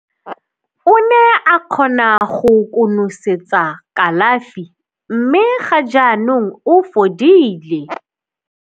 "O ne a kgona go konosetsa kalafi mme ga jaanong o fodile."